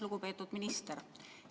Lugupeetud minister!